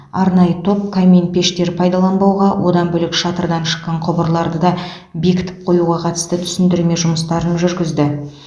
арнайы топ камин пештер пайдаланбауға одан бөлек шатырдан шыққан құбырларды да бекітіп қоюға қатысты түсіндірме жұмыстарын жүргізді